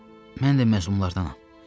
Mən də məhkumlardanam.